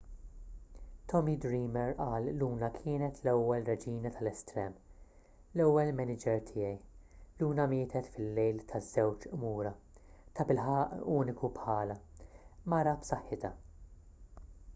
tommy dreamer qal luna kienet l-ewwel reġina tal-estrem l-ewwel maniġer tiegħi luna mietet fil-lejl taż-żewġ qmura tabilħaqq uniku bħalha mara b'saħħitha